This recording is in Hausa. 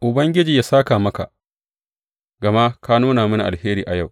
Ubangiji yă sāka maka, gama ka nuna mini alheri a yau.